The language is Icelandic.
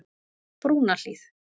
Brúnahlíð